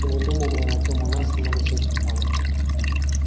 ты не думай у меня на тему нас много всяких планов